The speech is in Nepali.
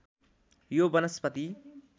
यो वनस्पति